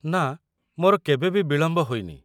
ନାଁ, ମୋର କେବେ ବି ବିଳମ୍ବ ହେଇନି।